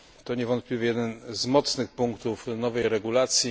To niewątpliwie jeden z mocnych punktów nowej regulacji.